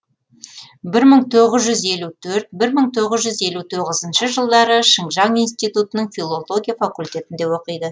бір мың тоғыз жүз елу төрт бір мың тоғыз жүз елу тоғызыншы жылдары шыңжаң институтының филология факультетінде оқиды